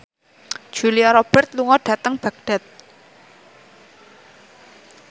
Julia Robert lunga dhateng Baghdad